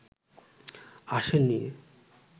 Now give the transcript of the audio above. আসেন নি